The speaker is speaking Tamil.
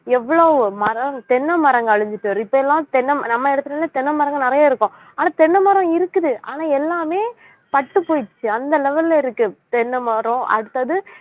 எவ்வளவு மரம் தென்னை மரங்கள் அழிஞ்சிட்டு வருது இப்ப எல்லாம் தென்னை மர~ நம்ம இடத்துலலாம் தென்னை மரங்கள் நிறைய இருக்கும் ஆனா தென்னை மரம் இருக்குது ஆனா எல்லாமே பட்டுப் போயிருச்சு அந்த level ல இருக்கு தென்னைமரம் அடுத்தது